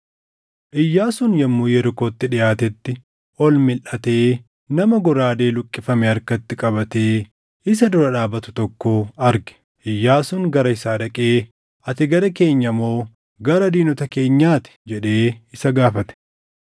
Iyyaasuun yommuu Yerikootti dhiʼaatetti, ol milʼatee nama goraadee luqqifame harkatti qabatee isa dura dhaabatu tokko arge. Iyyaasuun gara isaa dhaqee, “Ati gara keenya moo gara diinota keenyaa ti?” jedhee isa gaafate.